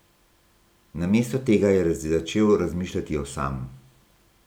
Namesto tega je začel razmišljati o Sam.